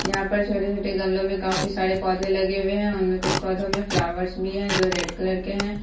यहाँ पर छोटे-छोटे गमलो में काफी सारे पौधे लगे हुए है उनमें कुछ पौधों में फ्लावर्स भी है जो रेड कलर के है।